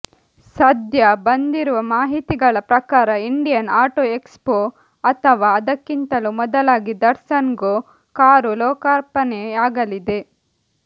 ಸದ್ಯ ಬಂದಿರುವ ಮಾಹಿತಿಗಳ ಪ್ರಕಾರ ಇಂಡಿಯನ್ ಆಟೋ ಎಕ್ಸ್ ಪೋ ಅಥವಾ ಅದಕ್ಕಿಂತಲೂ ಮೊದಲಾಗಿ ದಟ್ಸನ್ ಗೊ ಕಾರು ಲೋಕರ್ಪಣೆಯಾಗಲಿದೆ